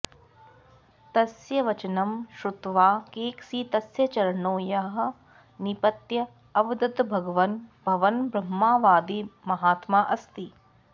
तस्य वचनं श्रुत्वा कैकसी तस्य चरणयोः निपत्य अवदत् भगवन् भवन् ब्रह्मवादी महात्मा अस्ति